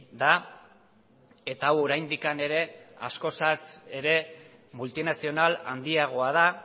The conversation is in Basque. da eta hau oraindik ere askozaz ere multinazional handiagoa da